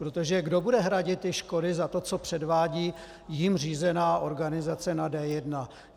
Protože kdo bude hradit škody za to, co předvádí jím řízená organizace na D1?